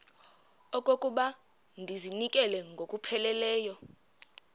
okokuba ndizinikele ngokupheleleyo